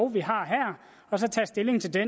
vi har her og så tager stilling til det